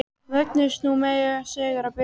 Mögnuðust nú mjög sögur af Birni.